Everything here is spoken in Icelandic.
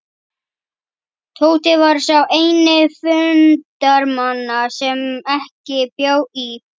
Tóti var sá eini fundarmanna sem ekki bjó í